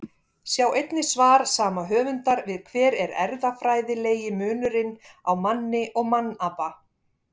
Sjá einnig svar sama höfundar við Hver er erfðafræðilegi munurinn á manni og mannapa?